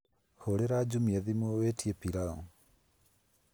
hurĩra jumia thimũ witie pilau